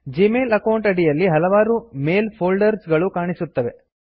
Gmail account ಅಡಿಯಲ್ಲಿ ಹಲವಾರು mail folders ಗಳು ಕಾಣಿಸುತ್ತವೆ